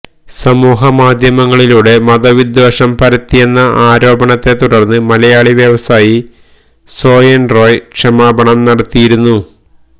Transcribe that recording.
സമൂഹമാധ്യമങ്ങളിലൂടെ മതവിദ്വേഷം പരത്തിയെന്ന ആരോപണത്തെ തുടർന്ന് മലയാളി വ്യവസായി സോഹൻ റോയ് ക്ഷമാപണം നടത്തിയിരുന്നു